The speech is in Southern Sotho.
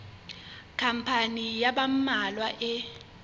khampani ya ba mmalwa e